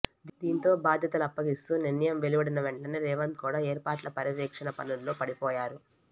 దీంతో బాధ్యతలు అప్పగిస్తూ నిర్ణయం వెలువడిన వెంటనే రేవంత్ కూడా ఏర్పాట్ల పర్యవేక్షణ పనుల్లో పడిపోయారు